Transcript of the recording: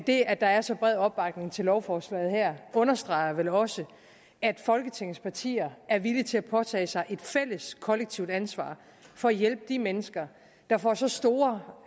det at der er så bred opbakning til lovforslaget her understreger vel også at folketingets partier er villige til at påtage sig et fælles kollektivt ansvar for at hjælpe de mennesker der får så store